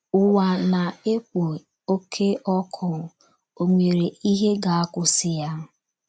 Ụwa na - ekpo Oké Ọkụ — Ò nwere Ihe ga - akwụsị ya?